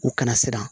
U kana siran